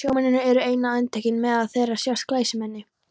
Sjómennirnir eru eina undantekningin, meðal þeirra sjást glæsimenni.